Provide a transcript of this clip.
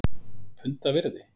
Punda virði??!?